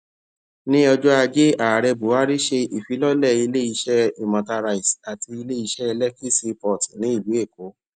ní ọjọ ajé ààrẹ buhari ṣe ìfilọlẹ ilé iṣẹ imota rice àti ilé iṣẹ lekki seaport ní ìlú èkó